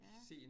Ja